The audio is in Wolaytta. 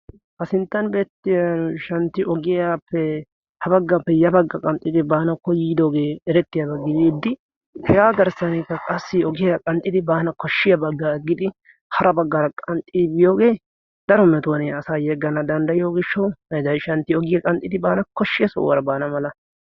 ha sinttan beetiya santi ogiyappe ha bagappe ya baggi baanawu koyidooge erettiyaba. hegaa gishawu ogiya qanxxi immiyoge daro metuwan asaa yeganawu dandayiyoge koshiya sohuwara baana mala